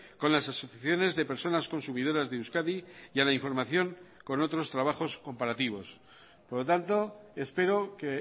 con las asociaciones de personas consumidoras de euskadi y a la información con otros trabajos comparativos por lo tanto espero que